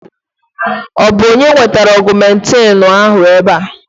Ọ bụ onye wetara Ọgụmentịịnụ a ébé a?